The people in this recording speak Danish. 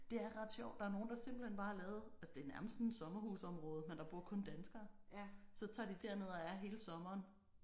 Det er ret sjovt der er nogle der simpelthen bare har lavet altså det er nærmest sådan et sommerhusområde men der bor kun danskere. Så tager de derned og er hele sommeren